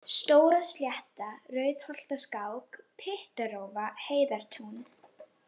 Stóraslétta, Rauðholtaskák, Pyttarófa, Heiðartún